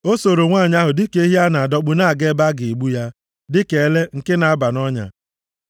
O sooro nwanyị ahụ dịka ehi a na-adọkpụ na-aga ebe a ga-egbu ya, dịka ele + 7:22 Maọbụ, onye nzuzu nke na-aba nʼọnya,